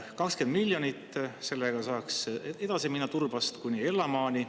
20 miljonit eurot – sellega saaks edasi minna Turbast kuni Ellamaani.